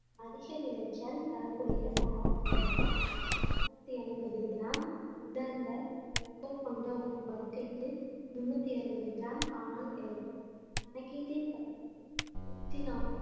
அதிக விளைச்சல் தரக்கூடிய சராசரியாக இருநூத்தி ஐம்பது கிராம் உலர்ந்த வைக்கோல் கொண்ட ஒரு படுக்கைக்கு முன்னூத்தி அறுபது கிராம் காளான் கிடைக்கும் கணக்கீட்டின் படி நூத்தி நாற்பத்தி